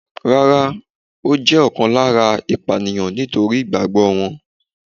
Rárá, ó jẹ́ ọ̀kan lára ìpànìyàn nítorí ìgbàgbọ́ wọn.